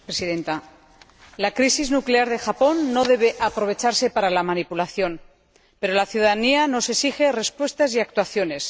Señora Presidenta, la crisis nuclear de Japón no debe aprovecharse para la manipulación, pero la ciudadanía nos exige respuestas y actuaciones.